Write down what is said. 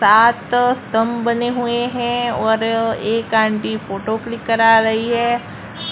सात स्तंभ बने हुए हैं और एक आंटी फोटो क्लिक करा रही है